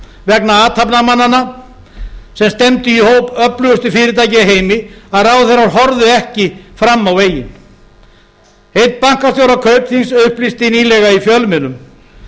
vegna athafnamannanna sem stefnu í hóp öflugustu fyrirtækja í heimi að ráðherrar horfðu ekki fram á veginn einn bankastjóra kaupþings upplýsti nýlega í fjölmiðlum